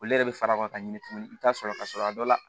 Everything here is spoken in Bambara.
Olu yɛrɛ bɛ fara ka ɲini tuguni i bɛ taa sɔrɔ ka sɔrɔ a dɔ la